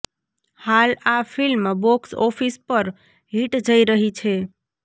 હાલ આ film box office પર હિટ જઇ રહી છે